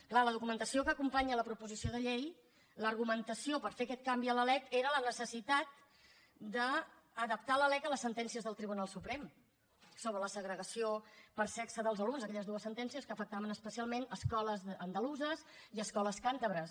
clar a la documentació que acompanya la proposició de llei l’argumentació per fer aquest canvi a la lec era la necessitat d’adaptar la lec a les sentències del tribunal suprem sobre la segregació per sexe dels alumnes aquelles dues sentències que afectaven especialment escoles andaluses i escoles càntabres